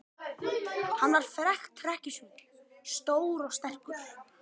Hann var frægt hrekkjusvín, stór og sterkur.